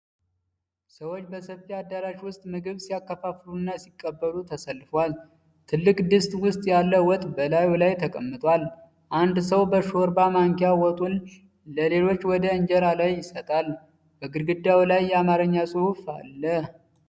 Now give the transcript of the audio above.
ሰዎች በሰፊ አዳራሽ ውስጥ ምግብ ሲያከፋፍሉና ሲቀበሉ ተሰልፈዋል። ትልቅ ድስት ውስጥ ያለ ወጥ በላዩ ላይ ተቀምጧል። አንድ ሰው በሾርባ ማንኪያ ወጡን ለሌሎች ወደ እንጀራ ላይ ይሰጣል። በግድግዳው ላይ የአማርኛ ጽሑፍ አለ።